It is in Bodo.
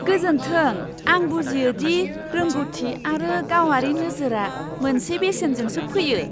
गोजोन्थों! आं बुजियो दि रोंग'थि आरो गावारि नोजोरआ मोनसे बेसेनजोंसो फैयो!